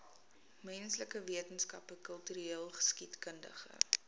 menslike wetenskappe kultureelgeskiedkundige